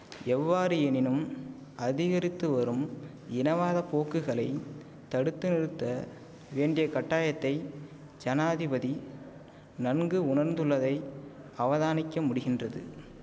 எவ்வாறு எனினும் அதிகரித்து வரும் இனவாத போக்குகளை தடுத்து நிறுத்த வேண்டிய கட்டாயத்தை ஜனாதிபதி நன்கு உணர்ந்துள்ளதை அவதானிக்க முடிகின்றது